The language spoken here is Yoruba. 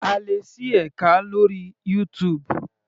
A lè ṣí ẹka lórí YouTube.